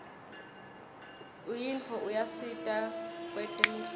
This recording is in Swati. unyiotfo uyasita kwetemidlalo